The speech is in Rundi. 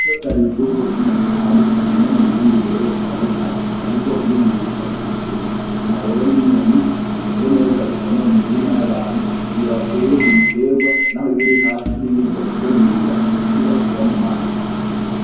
Ubwoko bw'inyoni butandukanye, ino mu Burundi hari inkuma :Inkuma rero n'inyoni imeze neza itonona imirima y'abantu, mugihe watey'ibiterwa naho yob 'irihafi ntibirya kuko yirira udusiba tuba mumazi.